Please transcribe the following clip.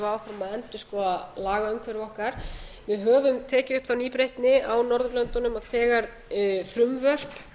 að endurskoða lagaumhverfi okkar við höfum tekið upp þá nýbreytni á norðurlödunum að þegar frumvörp